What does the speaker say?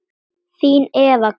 Þín Eva Karen.